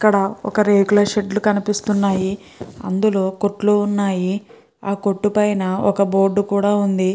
ఇక్కడ ఒక రేకుల షెడ్ కనిపిస్తున్నాయి. అందులో కొత్తులు వున్నాయ్ ఆ కొట్టు మేధా ఒక బోర్డు వుంది.